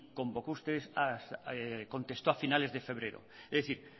como contestó usted a finales de febrero es decir